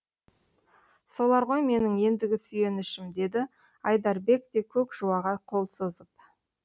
солар ғой менің ендігі сүйенішім деді айдарбек те көк жуаға қол созып